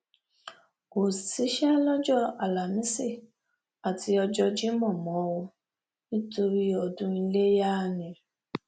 kò síṣẹ lọjọ álámísì àti ọjọ jimo o nítorí ọdún iléyà ni